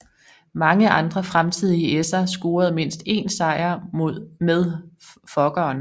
Mange andre fremtidige esser scorede mindst én sejr med Fokkeren